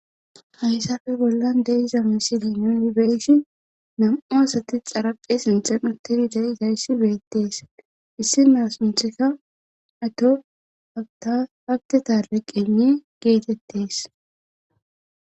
Haysafe bollan deiza misilinubeshi nam7u asati xaraphe sinxenatenida7i dayssi beettees issinaas untheka ato atahabte taale qene geetettees.